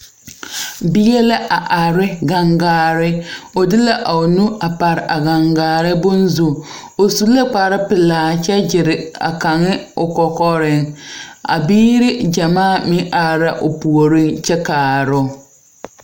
Bie la a arɛ ne gangaare ɔ de la ɔ nu a pare a gangaare bonzu ɔ sʋ la kpare pɛlaa kyɛ gyire a kaŋa ɔ kɔkɔrɛŋ a biiri jamaa meŋ arɛ la ɔ poɔrɛŋ kyɛ kaaroo.